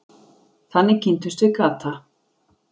Þannig kynntumst við Kata.